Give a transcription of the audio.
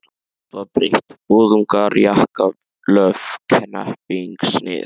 Allt var breytt, boðungar, jakkalöf, hnepping, snið.